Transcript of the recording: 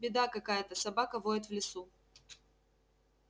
беда какая-то собака воет в лесу